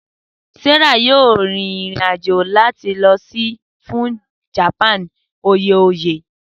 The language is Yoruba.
Sarah yoo rin irin ajo lọ si Japan fun oye oye oye.